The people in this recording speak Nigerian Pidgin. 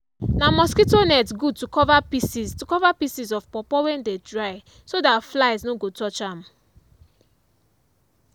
na mosquito net good to cover pieces to cover pieces of pawpaw wey dem dry so that flies no go touch am